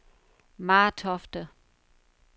Martofte